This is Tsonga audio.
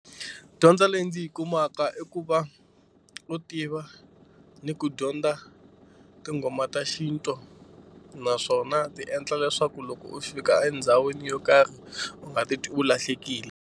Dyondzo leyi ndzi yi kumaka i ku va u tiva ni ku dyondza tinghoma ta xintu naswona ti endla leswaku loko u fika endhawini yo karhi u nga ti twi u lahlekile.